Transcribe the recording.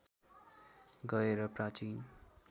गएर प्राचीन